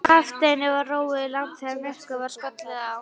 Kafteini var róið í land þegar myrkur var skollið á.